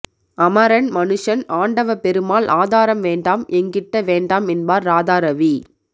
அமரன் மனுஷன் ஆண்டவப் பெருமாள் ஆதாரம் வேண்டாம் எங்கிட்ட வேண்டாம் என்பார் ராதாரவி